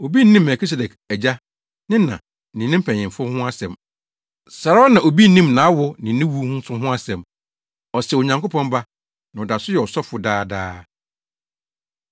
Obi nnim Melkisedek agya, ne na, ne ne mpanyimfo ho asɛm. Saa ara na obi nnim nʼawo ne ne wu nso ho asɛm. Ɔsɛ Onyankopɔn Ba, na ɔda so yɛ ɔsɔfo daadaa.